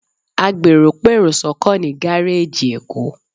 Àgbèrò pèrò sọ́kọ̀ ní gáréèjì èkó